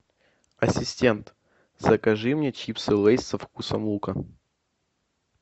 ассистент закажи мне чипсы лейс со вкусом лука